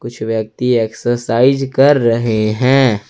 कुछ व्यक्ति एक्सरसाइज कर रहे हैं।